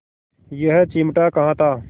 यह चिमटा कहाँ था